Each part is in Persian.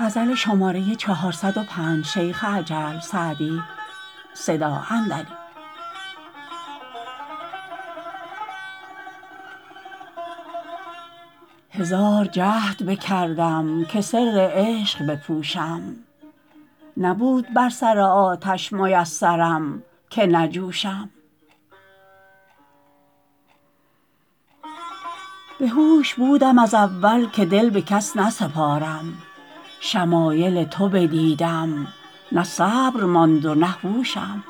هزار جهد بکردم که سر عشق بپوشم نبود بر سر آتش میسرم که نجوشم بهوش بودم از اول که دل به کس نسپارم شمایل تو بدیدم نه صبر ماند و نه هوشم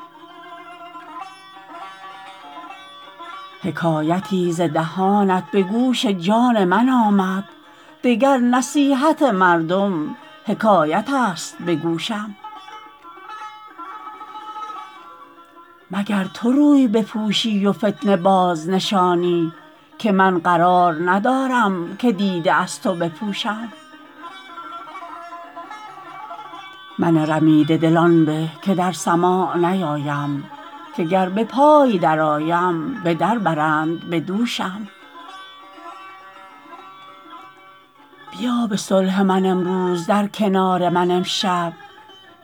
حکایتی ز دهانت به گوش جان من آمد دگر نصیحت مردم حکایت است به گوشم مگر تو روی بپوشی و فتنه بازنشانی که من قرار ندارم که دیده از تو بپوشم من رمیده دل آن به که در سماع نیایم که گر به پای درآیم به در برند به دوشم بیا به صلح من امروز در کنار من امشب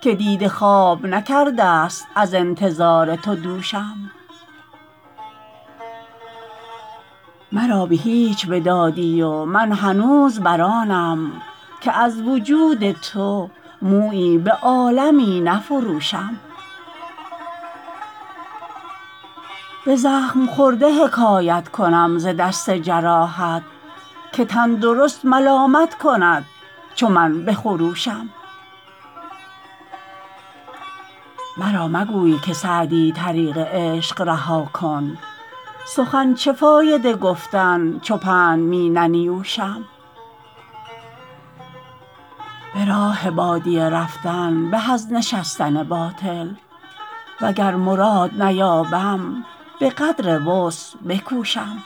که دیده خواب نکرده ست از انتظار تو دوشم مرا به هیچ بدادی و من هنوز بر آنم که از وجود تو مویی به عالمی نفروشم به زخم خورده حکایت کنم ز دست جراحت که تندرست ملامت کند چو من بخروشم مرا مگوی که سعدی طریق عشق رها کن سخن چه فایده گفتن چو پند می ننیوشم به راه بادیه رفتن به از نشستن باطل وگر مراد نیابم به قدر وسع بکوشم